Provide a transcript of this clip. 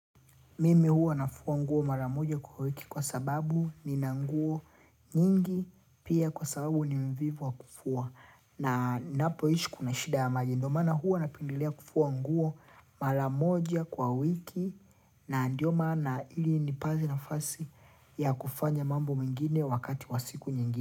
Mimi huwa nafua nguo mara moja kwa wiki kwa sababu nina nguo nyingi pia kwa sababu ni mvivu wa kufua. Na ninapoishi kuna shida ya maji ndio maana huwa napendelea kufua nguo mara moja kwa wiki na ndio maana ili nipate nafasi ya kufanya mambo mengine wakati wa siku nyingine.